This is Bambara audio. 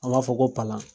An b'a fɔ ko palan